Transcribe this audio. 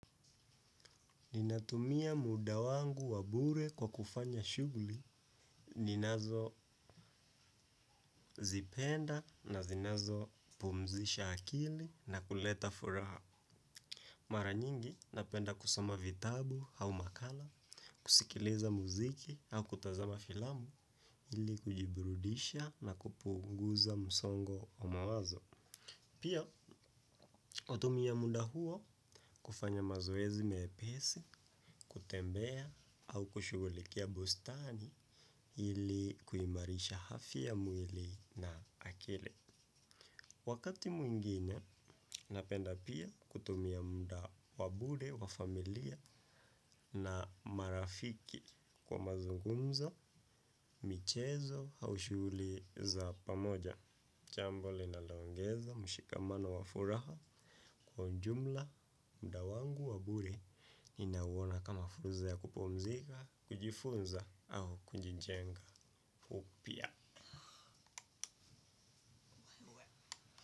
Ninatumia muda wangu wa bure kwa kufanya shughuli, ninazozipenda na zinazo pumzisha akili na kuleta furaha. Mara nyingi, napenda kusoma vitabu au makala, kusikiliza muziki au kutazama filamu, ili kujibrudisha na kupunguza msongo wa mawazo. Pia, natumia muda huo kufanya mazoezi mepesi, kutembea au kushughulikia bustani ili kuimarisha afya ya mwili na akili. Wakati mwingine, napenda pia kutumia muda wa bure, wa familia na marafiki kwa mazungumzo, michezo, au shughuli za pamoja. Jambo linaloongeza mshikamano wa furaha kwa ujumla muda wangu wa bure ninauona kama fursa ya kupumzika, kujifunza au kunjijenga upya.